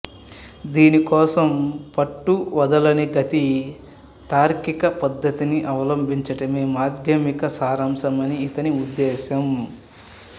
దీనికోసం పట్టువదలని గతి తార్కిక పద్ధతిని అవలంబించడమే మాధ్యమిక సారాంశమని ఇతని ఉద్దేశం